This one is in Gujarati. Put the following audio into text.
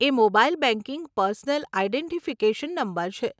એ mobile banking personal identification number છે.